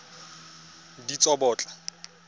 ditsobotla